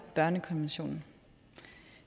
børnekonventionen